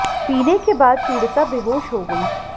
पीने के बाद पिडीता बेहोश हो गई